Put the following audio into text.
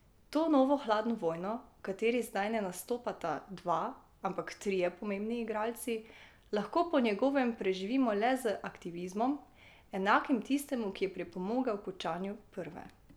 To novo hladno vojno, v kateri zdaj ne nastopata dva, ampak trije pomembni igralci, lahko po njegovem preživimo le z aktivizmom, enakim tistemu, ki je pripomogel h končanju prve.